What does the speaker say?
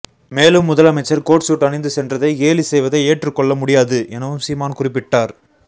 மேலும் முதலமைச்சர் coat suit அணிந்து சென்றதை கேலி செய்வதை ஏற்றுக்கொள்ள முடியாது எனவும் சீமான் குறிப்பிட்டார்